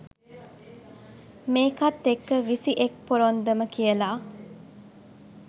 මේකත් එක්ක විසි එක් පොරොන්දම කියල